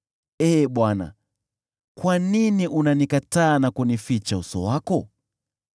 Ee Bwana , kwa nini unanikataa na kunificha uso wako?